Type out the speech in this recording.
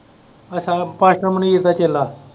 ਅੱਛਾ ਇਹ pasta ਮਨੀਸ ਦਾ ਚੇਲਾ।